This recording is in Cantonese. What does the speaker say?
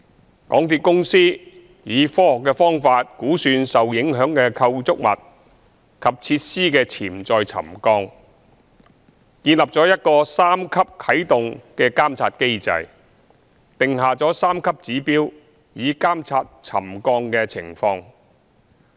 香港鐵路有限公司以科學方法估算受影響的構築物及設施的潛在沉降，建立了一個三級啟動監察機制，訂下三級指標以監察沉降的情況。